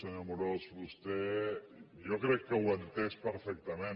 senyor amorós vostè jo crec que ho ha entès perfectament